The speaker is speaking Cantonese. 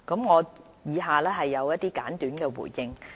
我以下有些簡短的回應。